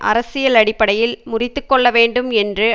அரசியல் அடிப்படையில் முறித்துக்கொள்ள வேண்டும் என்று